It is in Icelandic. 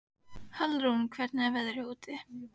Hallrún, hvernig er veðrið úti?